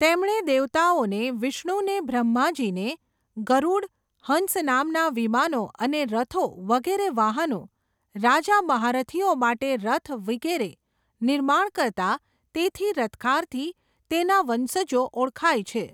તેમણે દેવતાઓને વિષ્ણુને બ્રહ્માજીને, ગરૂડ, હંસ નામના વિમાનો અને રથો વગેરે વાહનો, રાજા મહારથીઓ માટે રથ વિગેરે, નિર્માણ કરતા તેથી રથકારથી તેના વંશજો ઓળખાય છે.